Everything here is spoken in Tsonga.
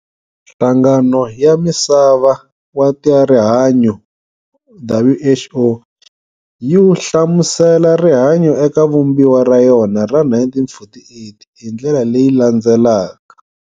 Nhlangano ya Misava wa tarihanyo, WHO, yi hlamusela rihanyo eka Vumbiwa ra yona ra 1948, hi ndlela leyi landzelaka.